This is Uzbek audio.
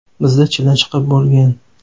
Bizda chilla chiqib bo‘lgan.